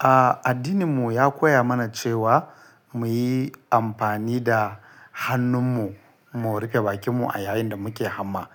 A addininmu ya koya mana cewa muyi amfani da hannunmu mu rufe bakinmu a yayin da muke hamma.